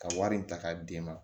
Ka wari in ta k'a d'e ma